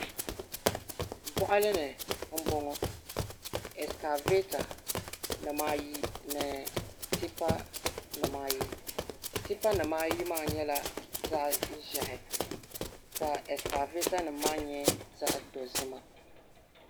Boɣali ni n boŋo ɛskavɛta nimaayi ni tipa nimaayi tipa nimaayi maa nyɛla zaɣ ʒiɛhi ka ɛskavɛta nim maa nyɛ zaɣ dozima